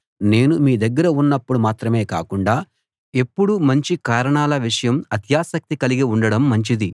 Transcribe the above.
నేను మీ దగ్గర ఉన్నప్పుడు మాత్రమే కాకుండా ఎప్పుడూ మంచి కారణాల విషయం అత్యాసక్తి కలిగి ఉండడం మంచిది